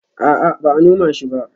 A'a, ba a noma shi ba